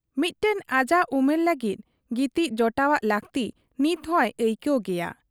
ᱢᱤᱫᱢᱟ ᱟᱡᱟᱜ ᱩᱢᱮᱨ ᱞᱟᱹᱜᱤᱫ ᱜᱤᱛᱤᱡ ᱡᱚᱴᱟᱣᱟᱜ ᱞᱟᱹᱠᱛᱤ ᱱᱤᱛᱦᱚᱸᱭ ᱟᱹᱭᱠᱟᱹᱣ ᱜᱮᱭᱟ ᱾